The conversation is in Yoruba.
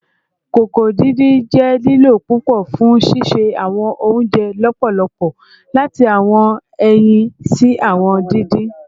koko didin jẹ lilo pupọ fun sise awọn ounjẹ lọpọlọpọ, lati awọn ẹyin si awọn didin